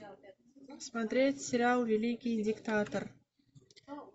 смотреть сериал великий диктатор